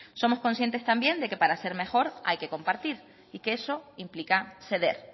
somos conscientes también de que para ser mejor hay que compartir y que eso implica ceder